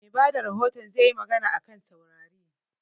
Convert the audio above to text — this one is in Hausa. Mai bada rahoton zai yi magana a kan taurari